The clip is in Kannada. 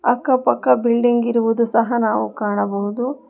ಅಕ್ಕ ಪಕ್ಕ ಬಿಲ್ಡಿಂಗ್ ಇರುವುದು ಸಹ ನಾವು ಕಾಣಬಹುದು.